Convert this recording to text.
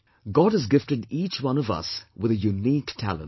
God has gifted each one of us with a unique talent